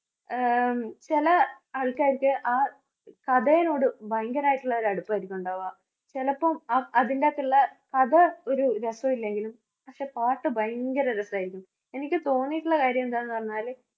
ആഹ് ചെല ആള്‍ക്കാര്‍ക്ക് ആ കഥെനോട് ഭയങ്കരായിട്ടുള്ളൊരു അടുപ്പായിരിക്കോണ്ടാവാ. ചെലപ്പം ആ അതിന്റകത്തുള്ള കഥ ഒരു രസെല്ലെങ്കിലും, പക്ഷേ പാട്ട് ഭയങ്കര രസായിരിക്കും. എനിക്ക് തോന്നീട്ടുള്ള കാര്യം എന്താന്ന് പറഞ്ഞാല്